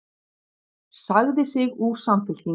Sagði sig úr Samfylkingunni